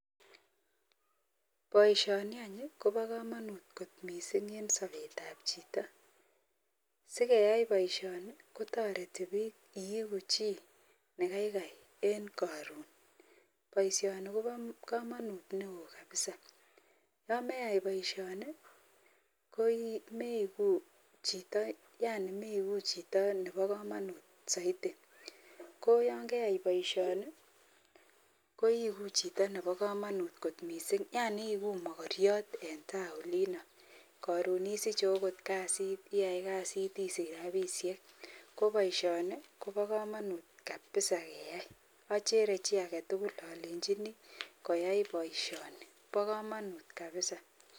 Baishoni Koba kamanut kot mising en Sabet ab Chito sikeyai baishoni akotareti bik iiku chi negaiksi en koron baishoni Koba kamanut neon kabisa yameyai baishoni komeigu Chito Nebo kamanut saiti koyangeyai baishoni koigu Chito Nebo kamanut kot mising Yani iyeigu magariot en ta Olin Karon isiche okot kasit iyai kasit isich rabishek kobaishoni Koba kamanut kabisa keyai achere chi agetugul alenjini koyai baishoni ba kamanut kabisa'